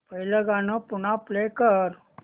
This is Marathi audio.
पहिलं गाणं पुन्हा प्ले कर